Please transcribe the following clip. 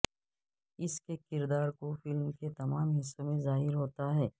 اس کے کردار کو فلم کے تمام حصوں میں ظاہر ہوتا ہے